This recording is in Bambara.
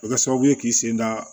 O bɛ kɛ sababu ye k'i sen da